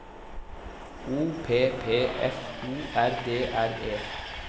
O P P F O R D R E